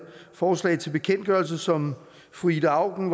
forslag til bekendtgørelse som fru ida auken